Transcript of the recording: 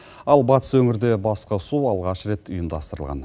ал батыс өңірде басқосу алғаш рет ұйымдастырылған